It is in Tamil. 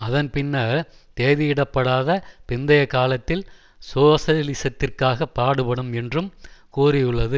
அதன் பின்னர் தேதியிடப்படாத பிந்தைய காலத்தில் சோசலிசத்திற்காகப் பாடுபடும் என்றும் கூறியுள்ளது